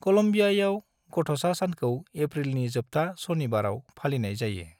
क'लम्बियायाव, गथ'सा सानखौ एप्रिलनि जोबथा सनिबाराव फालिनाय जायो।